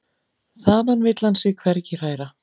Þaðan vill hann sig hvergi hræra.